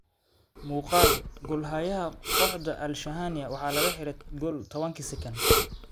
Muugaal:Gol xayaha qooxda Al-Shahania waxa lakaxire gol tawanki sekond.